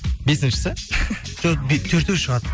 бесіншісі жоқ төртеу шығады